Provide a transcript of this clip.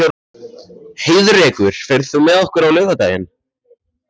Heiðrekur, ferð þú með okkur á laugardaginn?